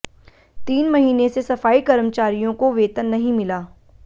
तीन महीने से सफाई कर्मचारियों को वेतन नहीं मिला